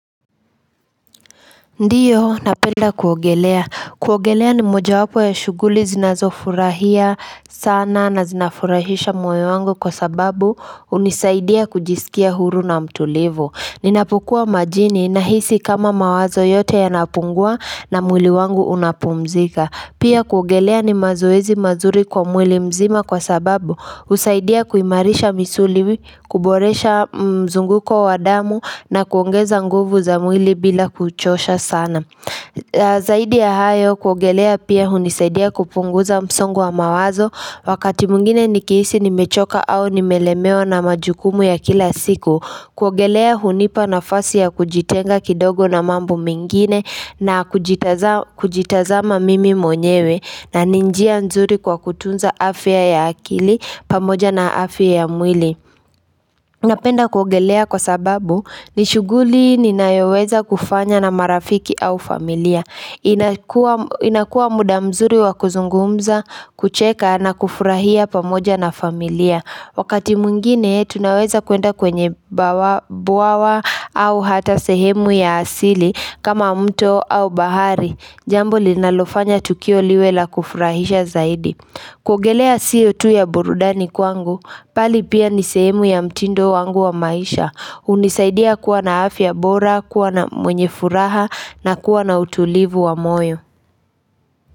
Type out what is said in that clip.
Ndiyo napenda kuogelea. Kuogelea ni moja wapo ya shughuli zinazofurahia sana na zinafurahisha moyo wangu kwa sababu unisaidia kujisikia huru na mtulivu. Ninapukua majini na hisi kama mawazo yote yanapungua na mwili wangu unapumzika. Pia kuogelea ni mazuezi mazuri kwa mwili mzima kwa sababu usaidia kuimarisha misuli, kuboresha mzunguko wadamu na kuongeza nguvu za mwili bila kuchosha sana Zaidi ya hayo kuogelea pia hunisaidia kupunguza msongo wa mawazo Wakati mwingine nikihisi nimechoka au ni melemewa na majukumu ya kila siku kuogelea hunipa nafasi ya kujitenga kidogo na mambo mingine na kujitazama mimi mwenyewe na ni njia nzuri kwa kutunza afya ya akili pamoja na afya ya mwili Napenda kugelea kwa sababu nishughuli ninayoweza kufanya na marafiki au familia inakua muda mzuri wakuzungumza kucheka na kufurahia pamoja na familia Wakati mwingine tunaweza kuenda kwenye bawa au hata sehemu ya asili kama mto au bahari Jambo linalofanya tukio liwe la kufurahisha zaidi Kugelea siyo tu ya borudani kwangu Pali pia nisehemu ya mtindo wangu wa maisha unisaidia kuwa na afya bora kuwa na mwenye furaha na kuwa na utulivu wa moyo.